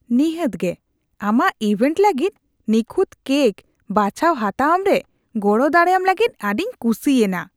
ᱱᱤᱦᱟᱹᱛ ᱜᱮ ! ᱟᱢᱟᱜ ᱤᱵᱷᱮᱱᱴ ᱞᱟᱹᱜᱤᱫ ᱱᱤᱠᱷᱩᱛ ᱠᱮᱠ ᱵᱟᱪᱷᱟᱣ ᱦᱟᱛᱟᱣᱟᱢ ᱨᱮ ᱜᱚᱲᱚ ᱫᱟᱲᱮᱭᱟᱢ ᱞᱟᱹᱜᱤᱫ ᱟᱹᱰᱤᱧ ᱠᱩᱥᱤ ᱮᱱᱟ ᱾